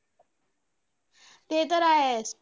अरे हेला add केलंय का